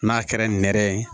N'a kɛra nɛrɛ ye